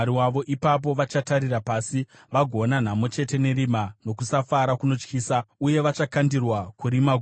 Ipapo vachatarira pasi vagoona nhamo chete nerima nokusafara kunotyisa, uye vachakandirwa kurima guru.